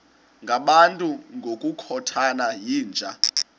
ngabantu ngokukhothana yinja